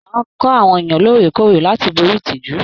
Máa kọ àwọn èèyàn lóòrèkóòrè láti borí ìtìjú!